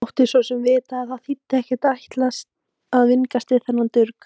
Mátti svo sem vita að það þýddi ekkert að ætla að vingast við þennan durg.